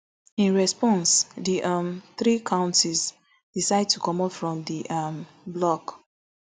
in response di um three konties decide to comot from di um bloc